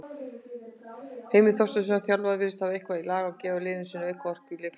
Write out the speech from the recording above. Heimir Þorsteinsson, þjálfari virðist hafa eitthvað lag á gefa liði sínu auka orku í leikhléi.